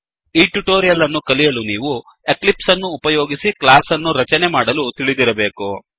ಈ ಟ್ಯುಟೋರಿಯಲ್ ಅನ್ನು ಕಲಿಯಲು ನೀವು ಎಕ್ಲಿಪ್ಸ್ ಅನ್ನು ಉಪಯೋಗಿಸಿ ಕ್ಲಾಸ್ ಅನ್ನು ರಚನೆ ಮಾಡಲು ತಿಳಿದಿರಬೇಕು